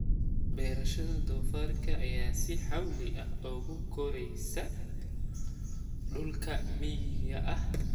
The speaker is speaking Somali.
Beerashada doofaarka ayaa si xawli ah ugu koraysa dhulka miyiga ah.